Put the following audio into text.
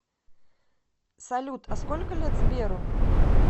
салют а сколько лет сберу